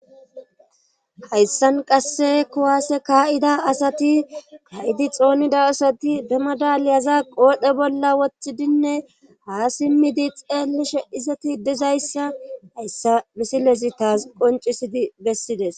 hayssan qasse kowaase kaa7ida asati ka7idi xoonida asati demadaliyaza qoodhe bolla woththidinne ha simmidi xeelishe izati dizayssa hayssa bisilezi taas qoncisidi bessides